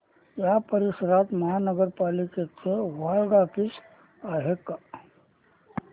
या परिसरात महानगर पालिकेचं वॉर्ड ऑफिस आहे का